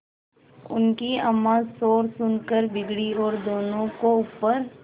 उनकी अम्मां शोर सुनकर बिगड़ी और दोनों को ऊपर